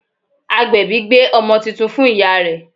Agbèbí gbé ọmọ titun fún ìyá rẹ̀